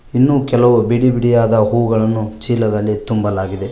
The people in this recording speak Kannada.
ಇನ್ನು ಕೆಲವು ಬಿಡಿ ಬಿಡಿಯಾದ ಹೂಗಳನ್ನು ಚೀಲದಲ್ಲಿ ತುಂಬಲಾಗಿದೆ.